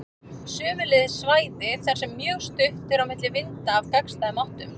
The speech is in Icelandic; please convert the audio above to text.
Sömuleiðis svæði þar sem mjög stutt er á milli vinda af gagnstæðum áttum.